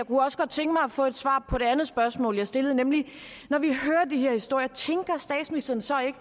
få et svar på det andet spørgsmål jeg stillede når når vi hører de her historier tænker statsministeren så ikke